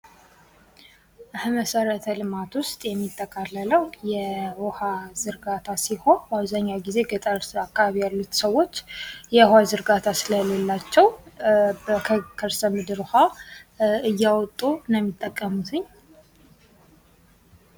ከመሰረተ ልማት ውስጥ የሚጠቃለለው የውሃ ዝርጋታ ሲሆን በአብዛኛው ጊዜ ገጠር አካባቢ ያሉ ሰዎች ውሃ ዝርጋታ ስለሌላቸው በከርሰ ምድር ውሃ እያወጡ ነው የሚጠቀሙትኝ።